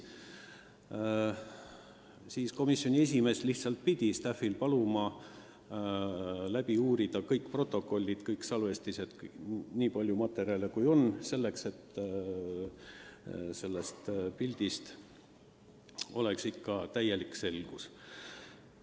Selle peale palus komisjoni esimees staff'il läbi uurida kõik protokollid, kõik salvestised – nii palju materjale, kui olemas on –, et sellest pildist täielik selgus saada.